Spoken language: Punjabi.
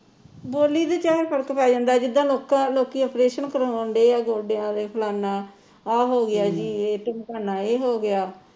ਬੋਲੀ ਤੇ ਚਾਹੇ ਫਰਕ ਪੈ ਜਾਂਦੇ ਜਿੱਦਾ ਲੋਕਾ ਲੋਕੀ ਓਪਰੇਸ਼ਨ ਕਰਾਉਂਦੇ ਆ ਗੋਡਿਆਂ ਦੇ ਫਲਾਣਾ ਆਹ ਹੋ ਗਿਆ ਜੀ ਢਿਮਕਾਨਾ ਇਹ ਹੋ ਗਿਆ